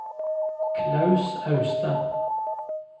Klaus Austad